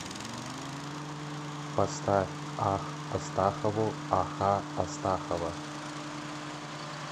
поставь ах астахову аха астахова